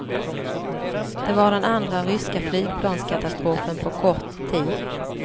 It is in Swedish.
Det var den andra ryska flygplanskatastrofen på kort tid.